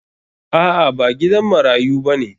A'a ba gidan marayu bane.